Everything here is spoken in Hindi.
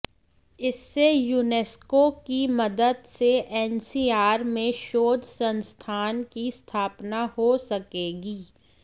इससे यूनेस्को की मदद से एनसीआर में शोध संस्थान की स्थापना हो सकेगी